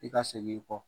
I ka segin i kɔ